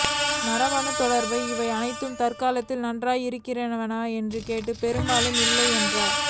மரபணுத் தொடர்புடைய இவை அனைத்தும் தற்காலத்தில் நன்றாக இருக்கின்றனவா என்று கேட்டால் பெரும்பாலும் இல்லை என்றே